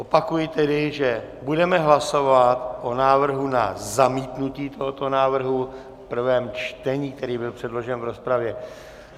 Opakuji tedy, že budeme hlasovat o návrhu na zamítnutí tohoto návrhu v prvém čtení, který byl předložen v rozpravě.